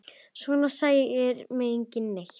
Svona særir mig ekki neitt.